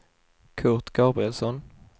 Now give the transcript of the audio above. Kurt Gabrielsson